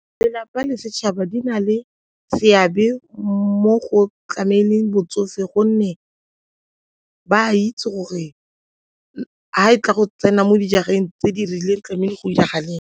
Lelapa le setšhaba di na le seabe mo go tlameleng botsofe gonne ba itse gore ga e tla go tsena mo dijareng tse di rileng tlamehile go 'iragale eng.